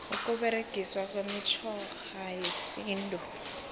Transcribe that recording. ukuberegiswa kwemitjhoga yesintu